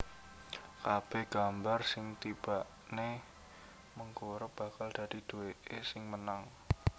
Kabèh gambar sing tibané mengkurep bakal dadi duwèké sing menang